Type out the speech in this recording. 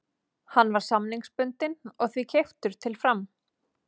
Hann var samningsbundinn og því keyptur til Fram.